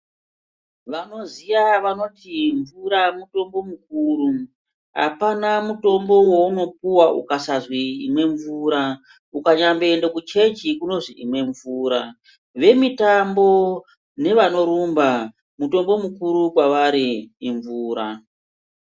Vanoziya vanoti mvura mutombo mukuru, apana mutombo wounopuwa ukasazwi imwe mvura, ukanyaenda kuchechi kunozwi imwe mvura, vemitambo nevanorumba, mutombo mukuru kwevari imvura.